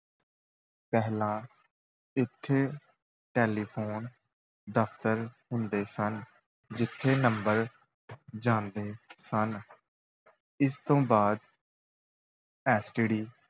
ਪਹਿਲਾਂ ਇੱਥੇ ਟੈਲੀਫੋਨ ਦਫ਼ਤਰ ਹੁੰਦੇ ਸਨ, ਜਿੱਥੇ number ਜਾਂਦੇ ਸਨ ਇਸ ਤੋਂ ਬਾਅਦ STD